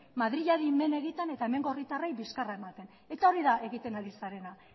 madrileri men egiten eta hemengo herritarrei bizkarra ematen eta hori da egiten ari zarena